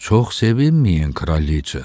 Çox sevinməyin, kraliqa.